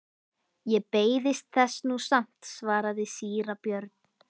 Ég beiðist þess nú samt, svaraði síra Björn.